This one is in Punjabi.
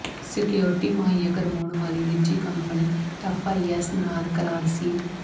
ਸਕਿਓਰਿਟੀ ਮੁਹੱਈਆ ਕਰਵਾਉਣ ਵਾਲੀ ਨਿੱਜੀ ਕੰਪਨੀ ਐਫਆਈਐਸ ਨਾਲ ਕਰਾਰ ਸੀ